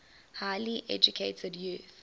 highly educated youth